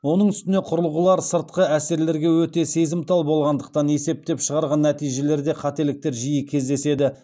оның үстіне құрылғылар сыртқы әсерлерге өте сезімтал болғандықтан есептеп шығарған нәтижелерде қателіктер жиі кездеседі